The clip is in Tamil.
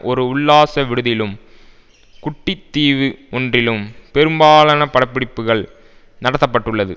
ஒரு உல்லாச விடுதியிலும் குட்டி தீவு ஒன்றிலும் பெரும்பாலான பட பிடிப்புகள் நடத்தப்பட்டுள்ளது